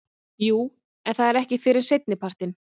Jú en það er ekki fyrr en seinnipartinn.